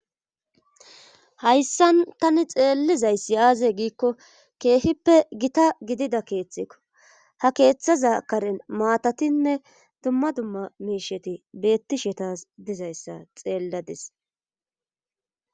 hayssan tani xeellizayssi aaze giikko keehippe gita gidida keeththekko ha keeththaza karen maatatinne dumma dumma miisheti beettishe tas dizayssa xeelladis